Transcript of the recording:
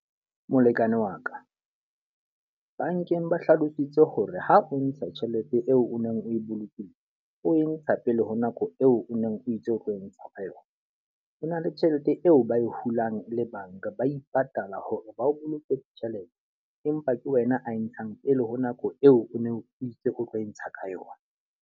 Molekane wa ka, bankeng ba hlalositse hore ha o ntsha tjhelete eo o neng o e bolokile, o e ntsha pele ho nako eo o neng o itse o tlo e ntsha ka yona. Ho na le tjhelete eo ba e hulang le banka. Ba ipatala hore ba o boloke tjhelete empa ke wena a e ntshang pele ho nako eo o neng o itse o tlo e ntsha ka yona.